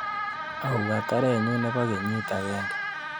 Auu katarenyu nebo kenyit agenge.